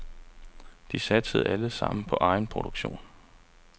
De satsede alle sammen på egenproduktion.